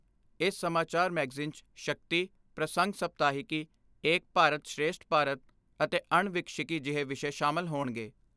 ਇਸ ਸਮਾਚਾਰ ਮੈਗਜ਼ੀਨ 'ਚ ਸ਼ਕਤੀ, ਪ੍ਰਸੰਗ ਸਪਤਾਹਿਕੀ, ਏਕ ਭਾਰਤ ਸ੍ਰੇਸ਼ਠ ਭਾਰਤ ਅਤੇ ਅਣਵਿਕਸਿੱਕੀ ਜਿਹੇ ਵਿਸ਼ੇ ਸ਼ਾਮਲ ਹੋਣਗੇ।